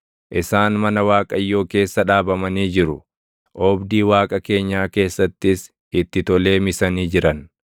isaan mana Waaqayyoo keessa dhaabamanii jiru; oobdii Waaqa keenyaa keessattis itti tolee misanii jiran.